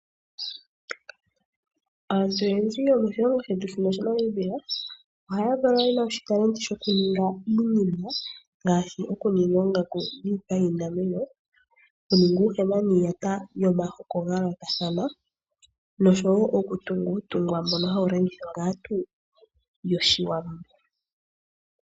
Aantu oyendji yomoshilongo shetu shiNo shaNamibia, ohaya valwa ye na oshitalenti dhoku ninga iinima, ngaashi okuninga oongaku dhiipa yiinamwenyo , oku ninga uuhema niiyata yomahoko ga yoolokathana noshowo oku tunga uutungwa mbono hawu longithwa kaantu yoshiwambo.